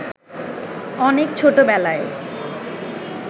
অনেক ছোটবেলায়